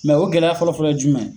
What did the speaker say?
Mɛ o gɛlɛya fɔlɔf ɔlɔ ye jumɛn ye?